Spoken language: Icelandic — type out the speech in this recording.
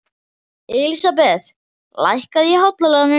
Elísabeth, lækkaðu í hátalaranum.